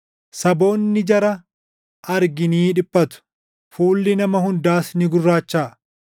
Saboonni jara arginii dhiphatu; fuulli nama hundaas ni gurraachaʼa.